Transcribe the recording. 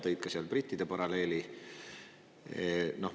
Tõid seal seal ka brittide paralleeli.